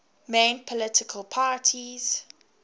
main political parties